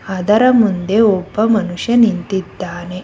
ಅದರ ಮುಂದೆ ಒಬ್ಬ ಮನುಷ್ಯ ನಿಂತಿದ್ದಾನೆ.